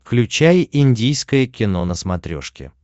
включай индийское кино на смотрешке